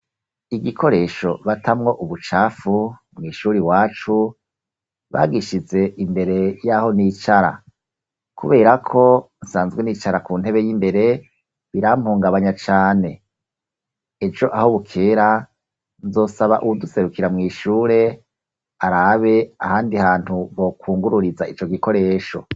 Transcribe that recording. Igikoresho batamwo ubucafu, mw'ishuri iwacu, bagishize imbere y'aho nicara; kubera ko nsanzwe nicara ku ntebe y'imbere, birampungabanya cane. Ejo aho bukera, nzosaba uwuduserukira mw'ishure, arabe ahandi hantu bokwungururiza ico gikoresho.